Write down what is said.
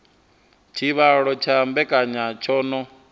tshivhalo tsha mbekanya tsho no